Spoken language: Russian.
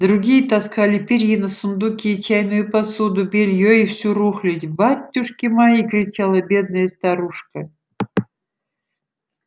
другие таскали перины сундуки чайную посуду бельё и всю рухлядь батюшки мои кричала бедная старушка